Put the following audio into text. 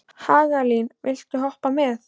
Hagalín, viltu hoppa með mér?